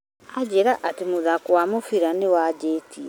Aanjĩra atĩ mũthako wa mũbira nĩwanjĩtie